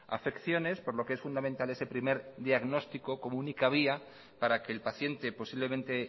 afecciones por lo que es fundamental ese primer diagnóstico como única vía para que el paciente posiblemente